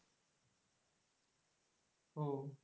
ও।